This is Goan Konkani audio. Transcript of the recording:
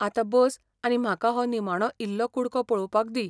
आतां बस आनी म्हाका हो निमाणो इल्लो कुडको पळोवपाक दी.